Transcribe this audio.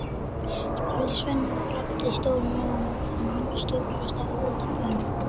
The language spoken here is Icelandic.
spurði Svenni og glápti stórum augum á þennan stórkostlega fótabúnað.